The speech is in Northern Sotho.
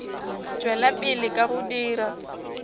tšwela pele ka go dira